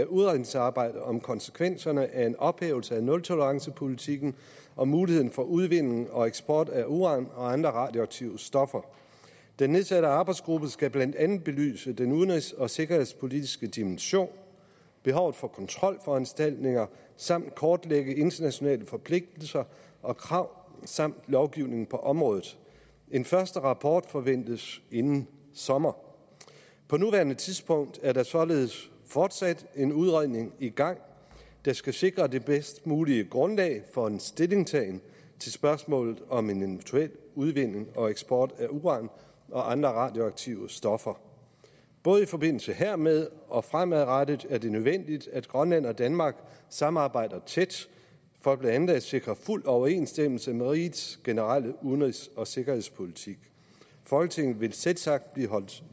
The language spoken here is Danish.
udredningsarbejde om konsekvenserne af en ophævelse af nultolerancepolitikken og muligheden for udvinding og eksport af uran og andre radioaktive stoffer den nedsatte arbejdsgruppe skal blandt andet belyse den udenrigs og sikkerhedspolitiske dimension behovet for kontrolforanstaltninger samt kortlægge internationale forpligtelser og krav samt lovgivning på området en første rapport forventes inden sommer på nuværende tidspunkt er der således fortsat en udredning i gang der skal sikre det bedst mulige grundlag for en stillingtagen til spørgsmålet om en eventuel udvinding og eksport af uran og andre radioaktive stoffer både i forbindelse hermed og fremadrettet er det nødvendigt at grønland og danmark samarbejder tæt for blandt andet at sikre fuld overensstemmelse med rigets generelle udenrigs og sikkerhedspolitik folketinget vil selvsagt blive holdt